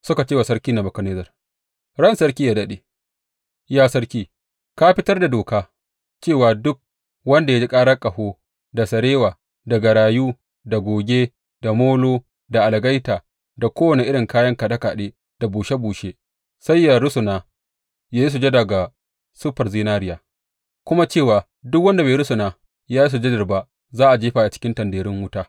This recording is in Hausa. Suka ce wa sarki Nebukadnezzar, Ran sarki yă daɗe, Ya sarki, ka fitar da doka, cewa duk wanda ya ji karar ƙaho, da sarewa, da garayu da goge, da molo da algaita da kowane irin kayan kaɗe kaɗe da bushe bushe sai yă rusuna yă yi sujada ga siffar zinariya, kuma cewa duk wanda bai rusuna ya yi sujadar ba za a jefa shi cikin tanderun wuta.